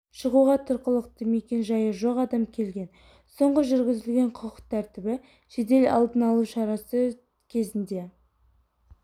шығуға тұрғылықты мекен жайы жоқ адам келген соңғы жүргізілген құқық тәртібі жедел-алдын алу шарасы кезінде